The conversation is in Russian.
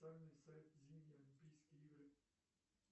официальный сайт зимние олимпийские игры